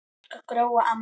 Elsku Gróa amma.